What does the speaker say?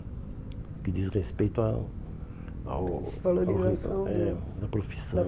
O que diz respeito ao... ao valorização do, é, da profissão.